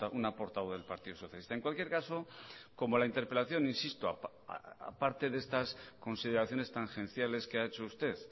una portavoz del partido socialista en cualquier caso como la interpelación insisto a parte de estas consideraciones tangenciales que ha hecho usted